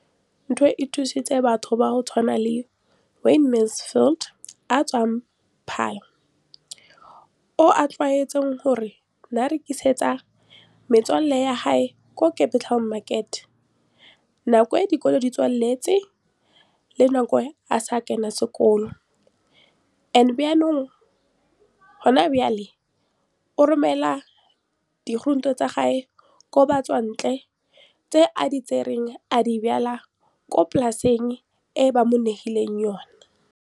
Leno le thusitse batho ba ba jaaka Wayne Mansfield, 33, wa kwa Paarl, yo a neng a rekisetsa malomagwe kwa Marakeng wa Motsekapa fa dikolo di tswaletse, mo nakong ya fa a ne a santse a tsena sekolo, mme ga jaanong o romela diratsuru tsa gagwe kwa dinageng tsa kwa ntle tseo a di lemileng mo polaseng eo ba mo hiriseditseng yona.